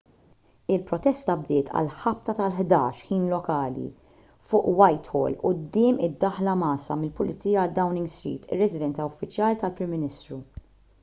il-protesta bdiet għal ħabta tal-11:00 ħin lokali utc+1 fuq whitehall quddiem id-daħla mgħassa mill-pulizija għal downing street ir-residenza uffiċjali tal-prim ministru